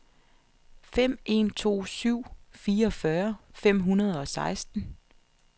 fem en to syv fireogfyrre fem hundrede og seksten